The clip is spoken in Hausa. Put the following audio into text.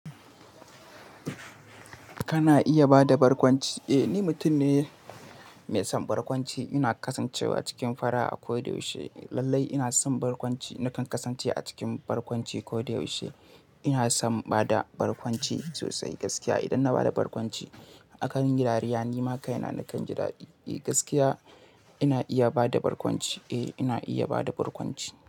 Kana iya bada barkwanci? Eh, ni mutum ne mai son barkwanci. Ina kasancewa cikin fara'a kodayaushe. Lallai ina son barkwanci. Nakan kasance a cikin barkwanci koyaushe. Ina son bada barkwanci sosai gaskiya. Idan na bada barkwanci a kan yi dariya, ni ma kai na nakan ji daɗi. Eh, gaskiya ina iya bada barkwanci. Eh, ina iya bada barkwanci.